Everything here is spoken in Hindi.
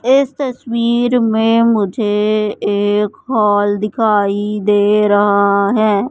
इस तस्वीर में मुझे एक हॉल दिखाई दे रहा है।